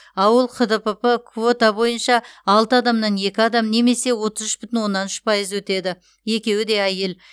ауыл хдпп квота бойынша алты адамнан екі адам немесе отыз үш бүтін оннан үш пайыз өтеді екеуі де әйел